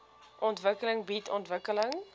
ontwikkeling bied ontwikkeling